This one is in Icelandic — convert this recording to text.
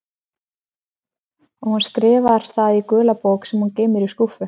En hún skrifar það í gula bók sem hún geymir í skúffu.